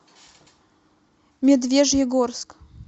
медвежьегорск